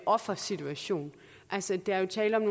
offersituation altså der er jo tale om